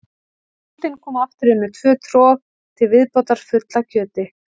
Bóndinn kom aftur inn með tvö trog til viðbótar full af kjöti.